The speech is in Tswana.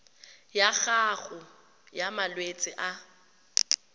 ya gago ya malwetse a